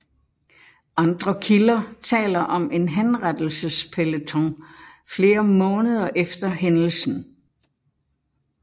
Andre kilder taler om en henrettelsespeloton flere måneder efter hændelsen